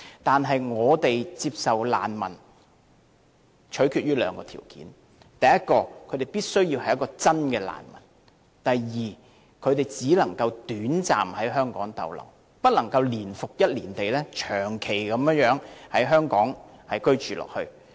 但是，我們接收難民須取決於兩個條件，第一，他們必須是真正的難民；第二，他們只能短暫在香港逗留，不能年復一年長期在港居住。